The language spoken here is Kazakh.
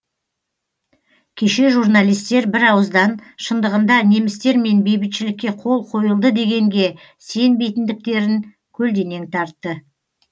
кеше журналистер бірауыздан шындығында немістермен бейбітшілікке қол қойылды дегенге сенбейтіндіктерін көлденең тартты